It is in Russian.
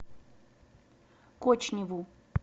кочневу